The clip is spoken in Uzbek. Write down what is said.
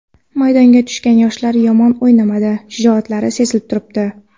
Maydonga tushgan yoshlar yomon o‘ynamadi, shijoatlari sezilib turibdi.